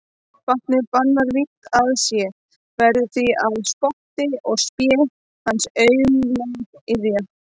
Vatnið bannar vígt að sé, verður því að spotti og spé hans aumleg iðja.